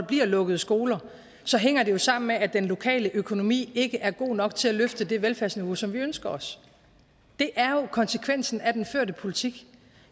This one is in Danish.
bliver lukket skoler så hænger det jo sammen med at den lokale økonomi ikke er god nok til at løfte det velfærdsniveau som vi ønsker os det er jo konsekvensen af den førte politik